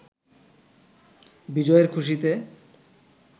বিজয়ের খুশিতে